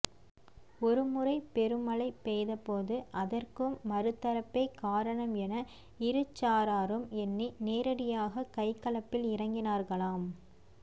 ஒருமுறை பெருமழை பெய்தபோது அதற்கும் மறுதரப்பே காரணம் என இருசாராரும் எண்ணி நேரடியாக கைகலப்பில் இறங்கினார்களாம்